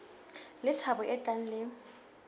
le thabo e tlang le